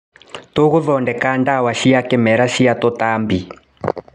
Tũgũthondeka ndawa cia kĩmerera cia tũtambi.